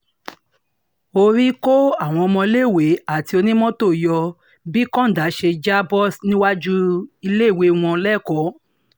orí kó àwọn ọmọọléèwé àti onímọ́tò yọ bí kọ́ńdà yìí ṣe já bọ́ níwájú iléèwé wọn lẹ́kọ̀ọ́